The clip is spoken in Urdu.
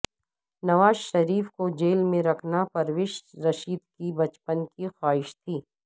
نوازشریف کو جیل میں رکھنا پرویز رشید کی بچپن کی خواہش تھی